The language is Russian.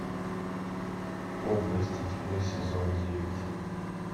области тьмы сезон девять